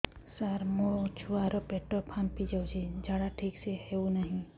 ସାର ମୋ ଛୁଆ ର ପେଟ ଫାମ୍ପି ଯାଉଛି ଝାଡା ଠିକ ସେ ହେଉନାହିଁ